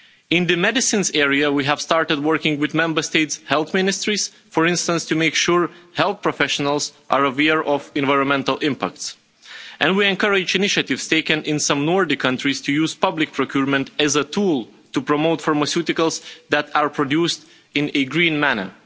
In the medicines area, we have started working with Member States' health ministries, for instance to make sure health professionals are aware of environmental impacts, and we encourage initiatives taken in some Nordic countries to use public procurement as a tool to promote pharmaceuticals that are produced in a green manner.